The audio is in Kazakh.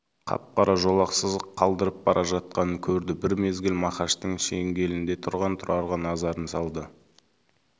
қап-қара жолақ сызық қалдырып бара жатқанын көрді бір мезгіл мақаштың шеңгелінде тұрған тұрарға назарын салды